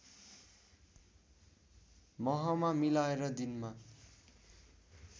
महमा मिलाएर दिनमा